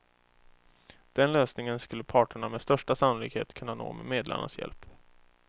Den lösningen skulle parterna med största sannolikhet kunna nå med medlarnas hjälp.